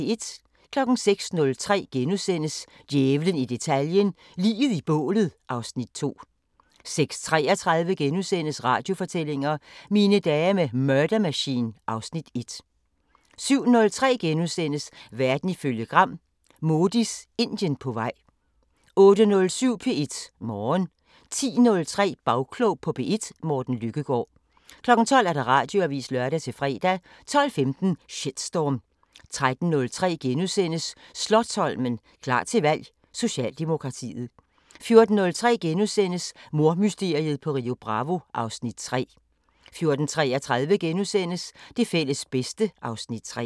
06:03: Djævlen i detaljen – Liget i bålet (Afs. 2)* 06:33: Radiofortællinger: Mine dage med Murder Machine (Afs. 1)* 07:03: Verden ifølge Gram: Modis Indien på vej * 08:07: P1 Morgen 10:03: Bagklog på P1: Morten Lykkegaard 12:00: Radioavisen (lør-fre) 12:15: Shitstorm 13:03: Slotsholmen – klar til valg: Socialdemokratiet * 14:03: Mordmysteriet på Rio Bravo (Afs. 3)* 14:33: Det fælles bedste (Afs. 3)*